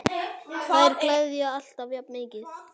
Þær gleðja alltaf jafn mikið.